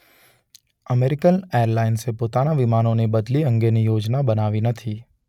American એરલાઇન્સે પોતાના વિમાનોની બદલી અંગેની યોજના બનાવી નથી.